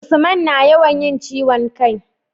Usman na yawan yin ciwon kai